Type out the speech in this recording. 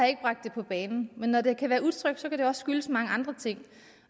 ikke bragt det på bane men når det kan være utrygt kan det også skyldes mange andre ting